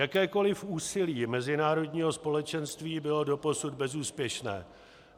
Jakékoliv úsilí mezinárodního společenství bylo doposud bezúspěšné.